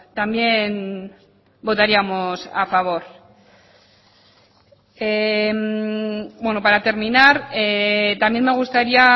también votaríamos a favor para terminar también me gustaría